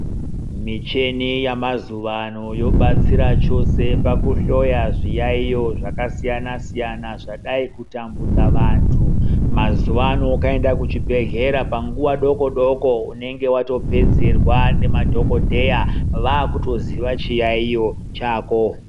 Muchini yamazuvano yobatsira chose pakuhloya zviyayiyo zvakasiyana-siyana zvadai kutambudza vantu mazuvano ukaenda kuzvibhedhlera panguva doko doko unenge wakutopedzerwa namadhokodheya vakutoziva chiyayiyo chako.